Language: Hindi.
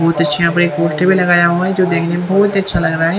बहोत अच्छे अपनी पोस्टर भी लगाया हुआ है। जो देखने में बहोत अच्छा लग रहा है।